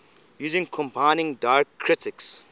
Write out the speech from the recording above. using combining diacritics